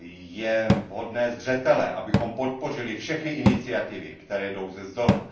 Je hodné zřetele, abychom podpořili všechny iniciativy, které jdou zezdola.